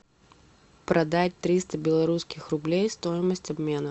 продать триста белорусских рублей стоимость обмена